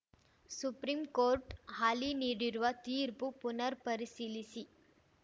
supreme court ಹಾಲಿ ನೀಡಿರುವ ತೀರ್ಪು ಪುನರ್‌ ಪರಿಶೀಲಿಸಿ